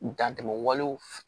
Dan tɛmɛ walew f